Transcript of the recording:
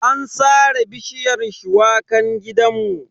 An sare bishiyar shuwakan gidanmu.